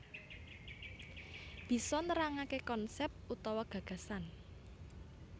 Bisa nerangake konsep utawa gagasan